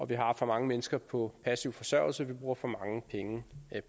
vi har for mange mennesker på passiv forsørgelse vi bruger for mange penge